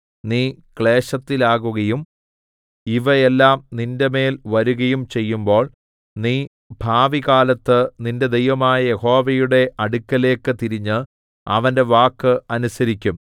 നീ ക്ലേശത്തിലാകുകയും ഇവ എല്ലാം നിന്റെമേൽ വരുകയും ചെയ്യുമ്പോൾ നീ ഭാവികാലത്ത് നിന്റെ ദൈവമായ യഹോവയുടെ അടുക്കലേക്ക് തിരിഞ്ഞ് അവന്റെ വാക്ക് അനുസരിക്കും